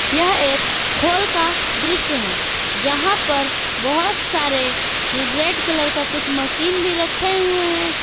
यह एक होल का दृश्य है जहा पर बहोत सारे रेड कलर का कुछ मशीन भी रखे हुए है।